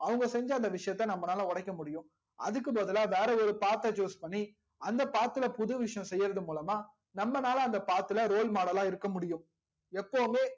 அவங்க செஞ்ச அந்த விஷயத்தை நம்பளால ஓடைக முடியும் அதுக்கு பதிலா வேற ஒரு path த choose பண்ணி அந்த path புது விஷயம் செய்யறது மூலமா நம்ப லால அந்த path ல roll model லா இருக்க முடியும் எப்போவுமே